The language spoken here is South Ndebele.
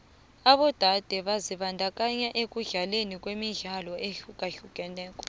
abodade byazibandakanya ekudlaleni imidlalo ehlukahlukeneko